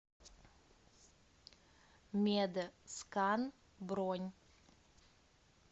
мед скан бронь